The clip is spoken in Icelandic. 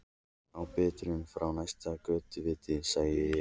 Í birtunni frá næsta götuvita sagði ég